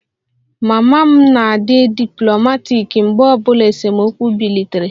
Mama m na-adi diplomaatic mgbe obula esemokwu bilitere